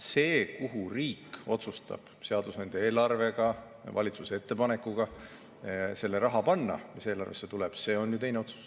See, kuhu riik otsustab seadusandja eelarvega valitsuse ettepanekul panna selle raha, mis eelarvesse tuleb, on juba teine otsus.